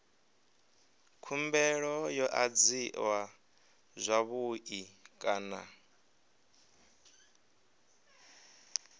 khumbelo yo adziwa zwavhui kana